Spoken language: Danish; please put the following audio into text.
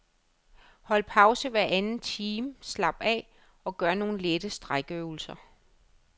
Hold pause hver anden time, slap af og gør nogle lette strækøvelser.